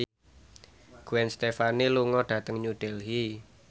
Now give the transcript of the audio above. Gwen Stefani lunga dhateng New Delhi